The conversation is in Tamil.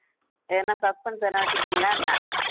எதுன்னா suspense எதுன்னா வெச்சுருக்கீங்களா என்ன